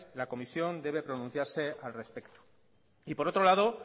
la comisión debe pronunciarse al respecto y por otro lado